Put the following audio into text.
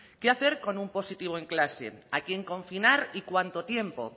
qué hacer con un positivo en clase a quién confinar y cuánto tiempo